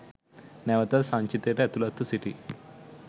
නැවතත් සංචිතයට ඇතුළත්ව සිටී